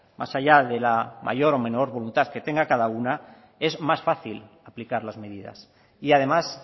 más allá de la mayor o menor voluntad que tenga cada una es más fácil aplicar las medidas y además